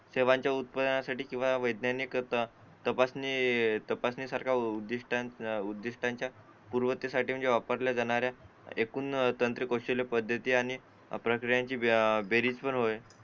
सेवांच्या उत्पादनासाठी किंवा वैज्ञानिक तपासणी तपासणी सारख्या उद्दिष्टांच्या पूर्वतयारी वापरल्या जाणाऱ्या एकूण तांत्रिक गोष्टींपैकी महत्त्वाची आणि त्यांची बेरीज पण होईल